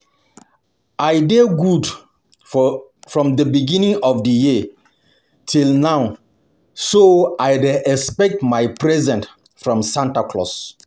I dey good from the beginning of the year till now so I dey expect my present from Santa Claus